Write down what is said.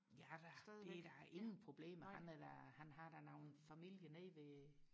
ja da det er da ingen problem han er da han har da noget familie nede ved